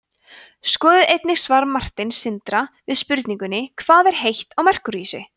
skoðið einnig svar marteins sindra við spurningunni hvað er heitt á merkúríusi